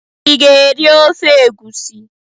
Ị ga-eri ofe egusi?